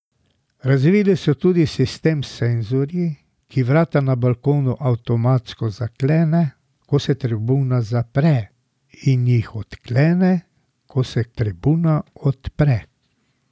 Razvili so tudi sistem s senzorji, ki vrata na balkonu avtomatsko zaklene, ko se tribuna zapre in jih odklene, ko se tribuna odpre.